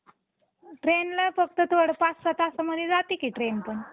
trainला फक्त थोडं पाच सहा तासमध्ये जातं की train पण